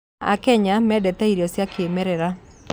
Akenya mendete irio cia kĩĩmerera